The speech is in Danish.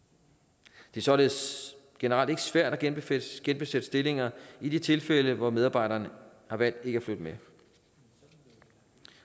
det er således generelt ikke svært at genbesætte genbesætte stillinger i de tilfælde hvor medarbejderne har valgt ikke at flytte med